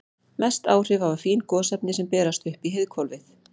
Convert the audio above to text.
Mest áhrif hafa fín gosefni sem berast upp í heiðhvolfið.